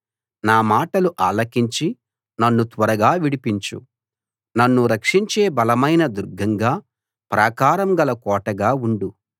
నా మాటలు ఆలకించి నన్ను త్వరగా విడిపించు నన్ను రక్షించే బలమైన దుర్గంగా ప్రాకారం గల కోటగా ఉండు